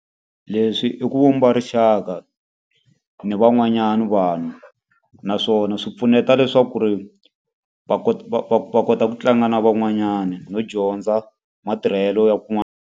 Leswi i ku vumba rixaka ni van'wanyana vanhu, naswona swi pfuneta leswaku ri va va va va kota ku tlanga na van'wanyana no dyondza matirhelo ya kun'wana.